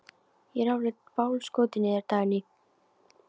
Ég er alveg bálskotinn í þér, Dagný!